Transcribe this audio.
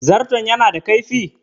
Zarton ya na da kaifi?